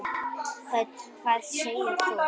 Hödd: Hvað segir þú?